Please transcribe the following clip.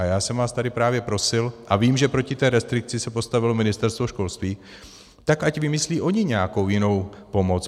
A já jsem vás tady právě prosil, a vím, že proti té restrikci se postavilo Ministerstvo školství, tak ať vymyslí oni nějakou jinou pomoc.